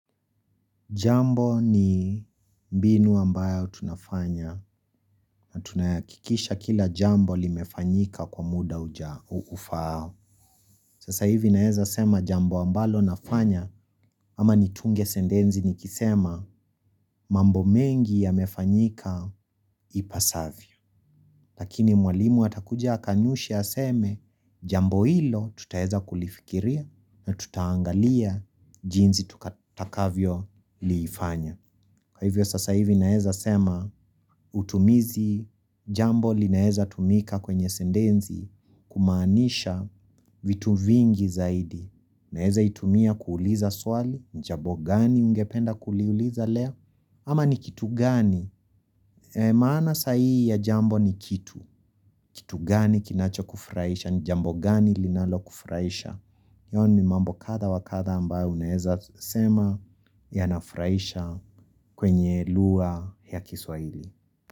Jambo ni mbinu ambayo tunafanya na tunaakikisha kila jambo limefanyika kwa muda ufao. Sasa hivi naeza sema jambo ambalo nafanya ama nitunge sendenzi nikisema mambo mengi ya mefanyika ipasavyo. Lakini mwalimu atakuja akanushe aseme jambo hilo tutaeza kulifikiria na tutaangalia jinzi tutakavyo liifanya. Kwa hivyo sasa hivi naeza sema utumizi jambo linaeza tumika kwenye sendenzi kumaanisha vitu vingi zaidi. Naeza itumia kuuliza swali, jabo gani ungependa kuliuliza leo? Ama ni kitu gani? Maana sahihi ya jambo ni kitu. Kitu gani kinacho kufraisha, ni jambo gani linalo kufraisha. Iyo ni mambo kadha wa kadha ambayo unaeza sema yanafraisha kwenye lugha ya kiswaili.